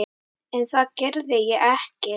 En það gerði ég ekki.